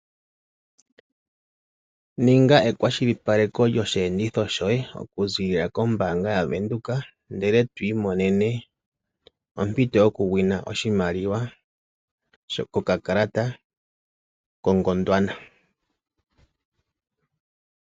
Ninga ekwashilipakeko lyoshi enditho shoye okuzilila kombaanga ya Venduka ndele to imonene ompito yokusindana oshimaliwa kokakalata koGondwana.